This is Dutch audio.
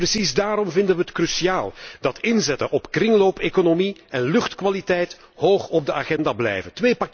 Precies daarom vinden wij het cruciaal dat inzetten op kringloopeconomie en luchtkwaliteit hoog op de agenda blijven.